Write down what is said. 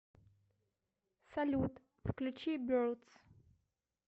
салют включи бердс